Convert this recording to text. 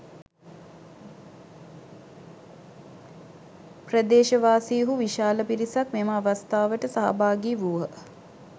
ප්‍රදේශවාසීහු විශාල පිරිසක් මෙම අවස්ථාවට සහභාගී වූහ